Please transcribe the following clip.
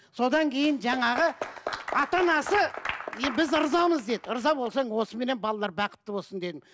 содан кейін жаңағы ата анасы біз ырзамыз деді ырза болсаң осыменен балалар бақытты болсын дедім